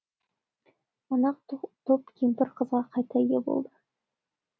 манағы топ кемпір қызға қайта ие болды